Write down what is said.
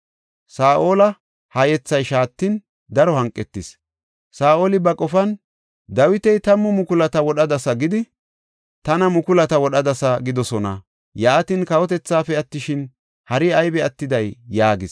Saa7ola ha yethay shaatin, daro hanqetis. Saa7oli ba qofan, “Dawita, ‘Tammu mukulata wodhadasa gidi, tana mukulata wodhadasa’ gidoosona. Yaatin, kawotethaafe attishin hari aybi attidee?” yaagis.